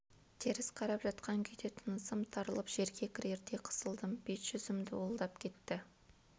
теріс қарап жатқан күйде тынысым тарылып жерге кірердей қысылдым бет-жүзім дуылдап кетті